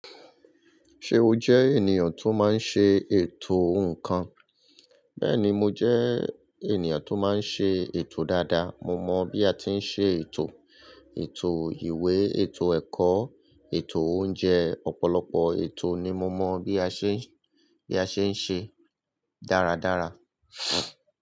Ṣe o jẹ eniyan to má n ṣe eto nkan? Bẹẹni mo jẹ eniyan to má n ṣe eto dáadáa. Mo mọ bi a ti n ṣe eto, eto iwe, eto ẹkọ, eto ounjẹ, ọ̀pọ̀lọpọ̀ eto ni mo mọ bi a ṣe, bi a ṣe n ṣe daradara.